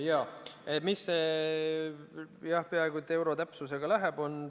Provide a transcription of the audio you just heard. Jah, miks see peaaegu et euro täpsusega läheb?